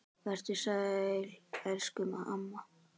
Vertu sæl elsku amma.